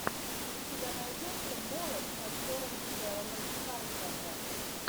у тебя найдется молот с актером стелланом скарсгардом